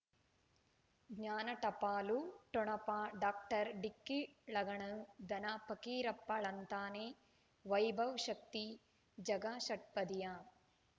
ಜ್ಞಾನ ಟಪಾಲು ಠೊಣಪ ಡಾಕ್ಟರ್ ಢಿಕ್ಕಿ ಲಗಣನು ಧನ ಪಕೀರಪ್ಪ ಳಂತಾನೆ ವೈಭವ್ ಶಕ್ತಿ ಝಗಾ ಷಟ್ಪದಿಯ